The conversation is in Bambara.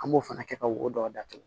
An b'o fana kɛ ka wodɔ datugu